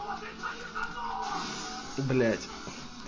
блять